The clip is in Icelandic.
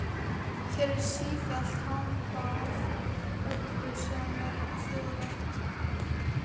Hér er sífellt hampað öllu sem er þjóðlegt.